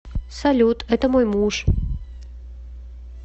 салют это мой муж